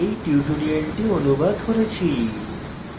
টিউটোরিয়ালটি অনুবাদ করেছি